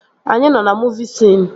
Anyị nọ na muuvi siin